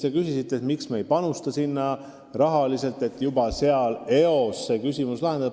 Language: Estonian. Te küsisite, miks me ei panusta sinna rahaliselt, et juba kohapeal küsimused eos lahendada.